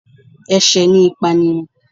Ẹ̀sẹ̀ ni ìpànìyàn